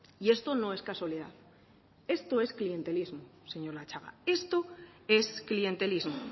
y esto no es casualidad esto es clientelismo señor latxaga esto es clientelismo